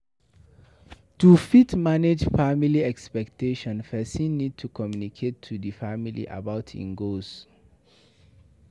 To fit manage family expectations person need to communicate to di family about im own goals